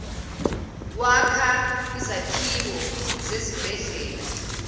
wakha izakhiwo zezibhedlela